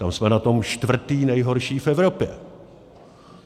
Tam jsme na tom čtvrtí nejhorší v Evropě.